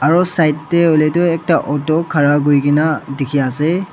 aro side tae hoilae tu ekta auto khara kurikaena dikhiase.